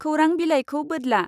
खौरां बिलाइखौ बोद्ला।